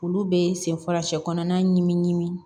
Olu bɛ senfa sɛkɔnɔna ɲimi ɲimi